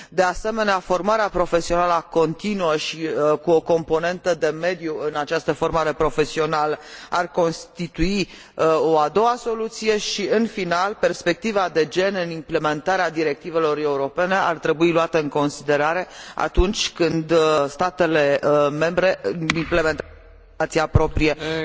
De asemenea, formarea profesională continuă și cu o componentă de mediu în această formare profesională ar constitui o a doua soluție și, în final, perspectiva de gen în implementarea directivelor europene ar trebui luată în considerare atunci când statele membre implementează în legislația proprie această opțiune.